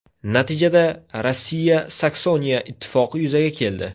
Natijada, Rossiya–Saksoniya ittifoqi yuzaga keldi.